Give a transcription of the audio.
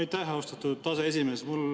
Aitäh, austatud aseesimees!